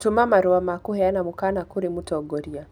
gũtũma marũa ma kũheana mũkaana kũrĩ mũtongoria